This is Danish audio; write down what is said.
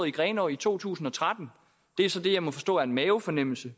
i grenaa i 2013 det er så det jeg må forstå er en mavefornemmelse